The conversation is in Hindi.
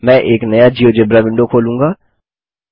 मैं एक नया जियोजेब्रा विंडो खोलूँगा